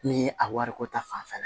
Ni a wariko ta fanfɛla